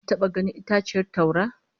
Ka taba ganin itaciyar taura?